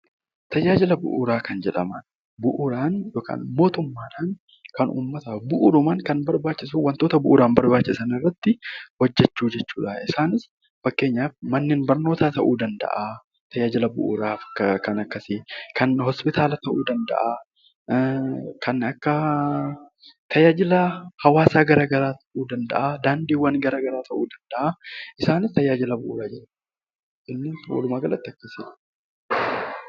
Tajaajila Bu'uuraa kan jedhaman bu'uuraan yookaan mootummaa dhaan kan uummataaf bu'uurumaan kan barbaachisu, wantoota bu'uuraan bsrbaachisan irratti hojjechuu jechuu dha. Isaanis fakkeenyaaf Manneen barnootaa ta'uu danda'aa tajaajila bu'uuraaf kan akkasii, kan Hoospitaala ta'uu danda'aa, kan akka tajaajila hawaasaa garaa garaa ta'uu danda'aa, daandiiwwan gara garaa ta'uu danda'aa, isaanis tajaajila bu'uuraa jedhamu.